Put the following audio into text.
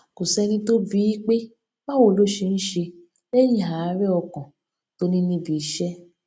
kò séni tó bi í pé báwo ló ṣe ń ṣe léyìn àárè ọkàn tó ní níbi iṣé